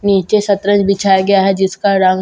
नीचे शतरंज बिछाया गया है जिसका रंग लाल--